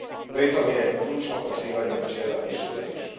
Pritom je ključno poštivanje načela više za više.